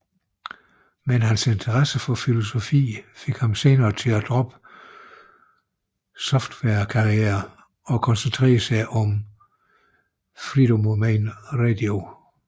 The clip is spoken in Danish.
Men hans interesse for filosofi fik ham senere til at droppe softwarekarrieren og koncentrere sig om Freedomain Radio